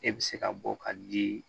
E bɛ se ka bɔ ka di